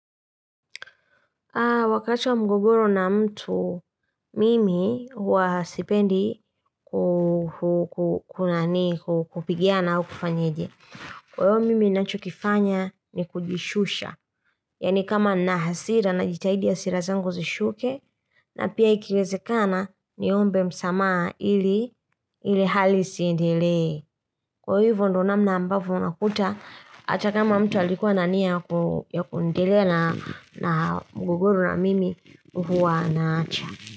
Wakati wa mgogoro na mtu mimi huwa sipendi kupigiana au kufanyeje. Kwa hivyo mimi nachokifanya ni kujishusha. Yaani kama na hasira najitahidi hasira zangu zishuke na pia ikiwezekana niombe msamaha ile hali isiendelee. Kwa hivyo ndo namna ambavyo unakuta hata kama mtu alikuwa na nia yq kuendelea na mgogoro na mimi huwa naacha.